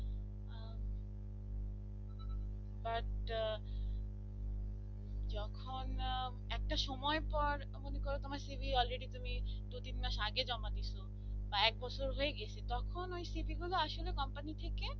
আহ যখন একটা সময় পর তুমি মনে করো তোমার cv already তুমি দু তিন মাস আগে জামা দিসো কয়েক বছর হয়ে গিয়েছে তখন ওই cv গুলো আসলে কোম্পানি থেকে